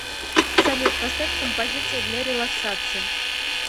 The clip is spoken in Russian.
салют поставь композиция для релаксации